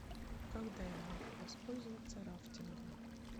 когда я могу воспользоваться рафтингом